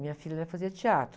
Minha filha, ela fazia teatro.